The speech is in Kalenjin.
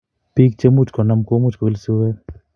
Piik chemuch konam komuch koil suet